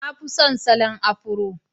Na fi son salon Afro